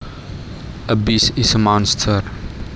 A beast is a monster